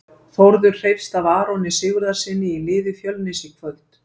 Þórður hreifst af Aroni Sigurðarsyni í liði Fjölnis í kvöld.